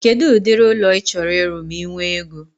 Kedụ ụdịrị ụlọ ị chọrọ ịrụ ma I nwee ego?